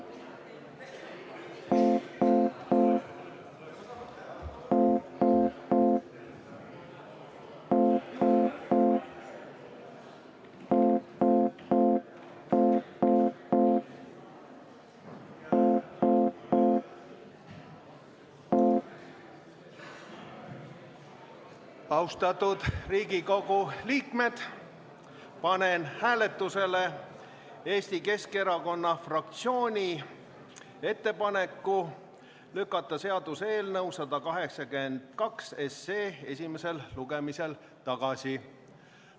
Austatud Riigikogu liikmed, panen hääletusele Eesti Keskerakonna fraktsiooni ettepaneku lükata seaduseelnõu 182 esimesel lugemisel tagasi.